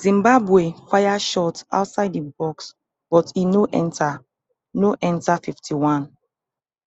zimbabwe fire shot outside di box but e no enter no enter fifty-one